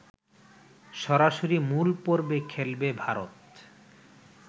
সরাসরি মূল পর্বে খেলবে ভারত